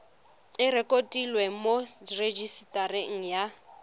e rekotiwe mo rejisetareng ya